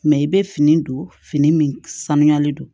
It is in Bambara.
Mɛ i bɛ fini don fini min sanuyalen don